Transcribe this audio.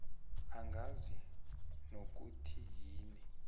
ungazi nokuthi yini